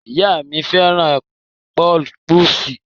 Ìyá mi féràn pèp̀usí.